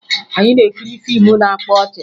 Anyị na-ekiri fiimu na-akpa ọchị